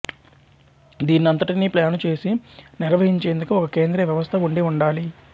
దీన్నంతటినీ plan చేసి నిర్వహించేందుకు ఒక కేంద్రీయ వ్యవస్థ ఉండి ఉండాలి